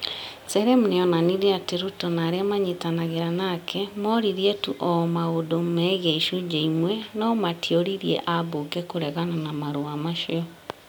Serem nĩ onanirie atĩ Ruto na arĩa mayitanagĩra nake moririe tu o maũndũ megiĩ icunjĩ imwe na matioririe ambunge kũregana na marũa macio.